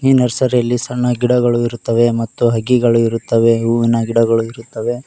ಈ ನರ್ಸರಿ ಯಲ್ಲಿ ಸಣ್ಣ ಗಿಡಗಳು ಇರುತ್ತವೆ ಮತ್ತು ಹಕ್ಕಿಗಳು ಇರುತ್ತವೆ ಹೂವಿನ ಗಿಡಗಳು ಇರುತ್ತವೆ.